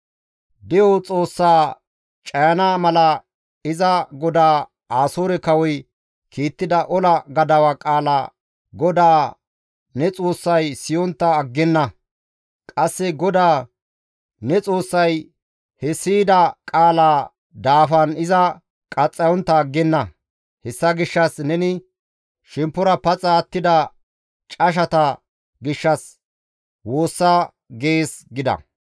De7o Xoossaa cayana mala iza godaa Asoore kawoy kiittida ola gadawa qaala GODAA ne Xoossay siyontta aggenna. Qasse GODAA ne Xoossay he siyida qaalaa gaason iza qaxxayontta aggenna. Hessa gishshas neni shemppora paxa attida cashata gishshas woossa› gees» gida.